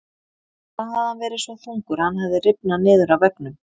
Þá hafði hann verið svo þungur að hann hafði rifnað niður af veggnum.